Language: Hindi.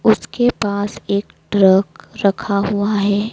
उसके पास एक ट्रक रखा हुआ है।